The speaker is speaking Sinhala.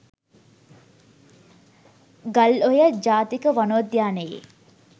ගල්ඔය ජාතික වනෝද්‍යානයේ